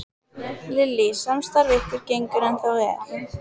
Lillý: Samstarf ykkar gengur ennþá vel?